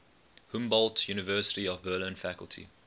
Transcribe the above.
humboldt university of berlin faculty